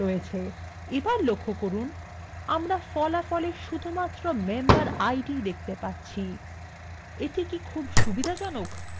এবার লক্ষ্য করুন আমরা ফলাফলwe শুধুমাত্র memberid দেখতে পাচ্ছি এটা খুব একটা সুবিধাজনক নয় তাই not